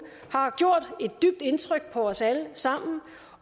har gjort et dybt indtryk på os alle sammen